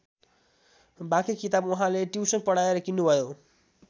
बाँकी किताब उहाँले टियुशन पढाएर किन्नु भयो।